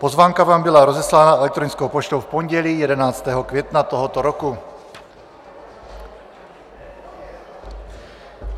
Pozvánka vám byla rozeslána elektronickou poštou v pondělí 11. května tohoto roku.